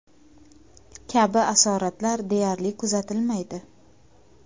kabi asoratlar deyarli kuzatilmaydi.